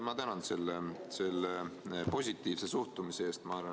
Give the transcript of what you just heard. Ma tänan selle positiivse suhtumise eest!